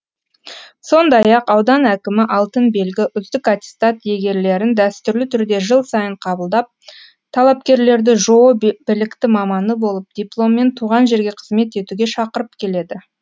сондай ақ аудан әкімі алтын белгі үздік аттестат иегерлерін дәстүрлі түрде жыл сайын қабылдап талапкерлерді жоо білікті маманы болып дипломмен туған жерге қызмет етуге шақырып келеді